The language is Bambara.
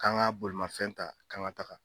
K'an ka bolomafɛn ta k'an ga taga